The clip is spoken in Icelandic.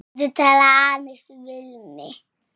Viltu tala aðeins við mig.